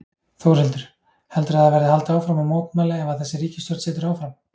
Þórhildur: Heldurðu að það verði haldið áfram að mótmæla ef að þessi ríkisstjórn situr áfram?